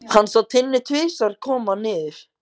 Hann sá Tinnu tvisvar koma niður.